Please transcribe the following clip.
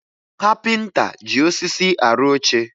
Kapịnta ji osisi arụ oche